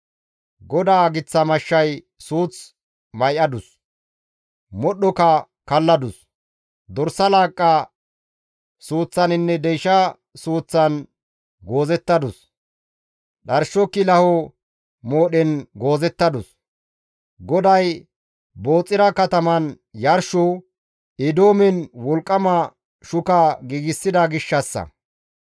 GODAA giththa mashshay suuth may7adus; modhdhoka kalladus; dorsa laaqqa suuththaninne deysha suuththan goozettadus; dharsho kilaho moodhen goozettadus; GODAY Booxira kataman yarsho, Eedoomen wolqqama shuka giigsida gishshassa.